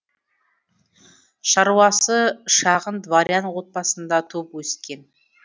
шаруасы шағын дворян отбасында туып өскен